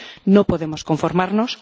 No podemos conformarnos.